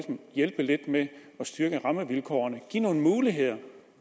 hjælpe lidt med at styrke rammevilkårene og give nogle muligheder